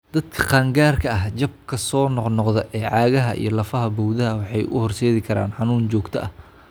Dadka qaangaarka ah, jabka soo noqnoqda ee cagaha iyo lafaha bowdada waxay u horseedi karaan xanuun joogto ah.